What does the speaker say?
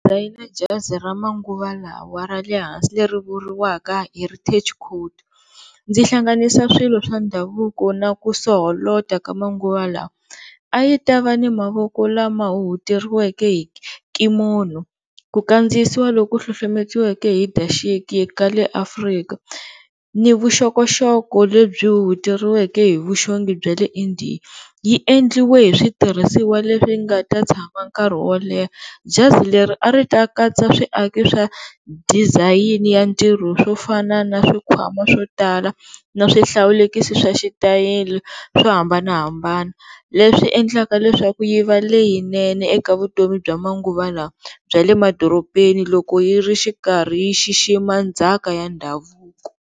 jazi ra manguva lawa ra le hansi leri ri vuriwaka heritage coat ndzi hlanganisa swilo swa ndhavuko na ku soholota ka manguva lawa. A yi ta va na mavoko lama huhuteriweke hi ku kandziyisiwa loku hlohlometiweke hi daxiki ka le Afrika ni vuxokoxoko lebyi huhuteriweke hi vuxongi bya le India, yi endliwe hi switirhisiwa leswi nga ta tshama nkarhi wo leha. Jazi leri a ri ta katsa swiaki swa disayini ya ntirho swo fana na swikhwama swo tala na swihlawulekisi xa switayela swo hambanahambana leswi endlaka leswaku yi va leyinene eka vutomi bya manguva lawa bya le madorobeni loko yi ri xikarhi yi xixima ndzhaka ya ndhavuko.